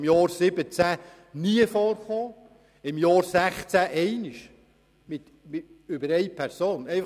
Im Jahr 2017 gab es keinen einzigen und im Jahr 2016 gab es einen Fall.